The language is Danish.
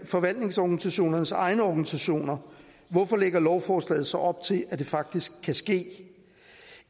forvaltningsorganisationernes egne organisationer hvorfor lægger lovforslaget så op til at det faktisk kan ske